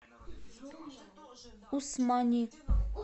усмани